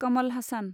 Kamal Hassan